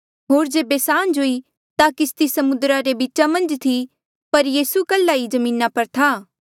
होर जेबे सांझ हुई ता किस्ती समुद्रा रे बीचा मन्झ थी पर यीसू कल्हा ही जमीना पर था